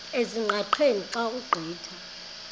ezingqaqeni xa ugqitha